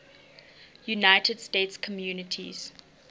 united states communities